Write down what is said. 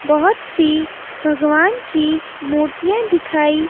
बहुत सी भगवान की मूर्तियां दिखाई--